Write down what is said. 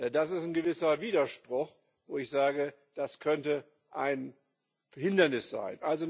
Das ist ein gewisser Widerspruch, und ich sage Das könnte ein Hindernis sein.